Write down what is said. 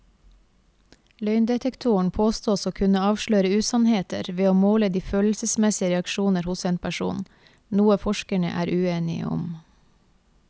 Løgndetektoren påstås å kunne avsløre usannheter ved å måle de følelsesmessige reaksjoner hos en person, noe forskerne er uenige om.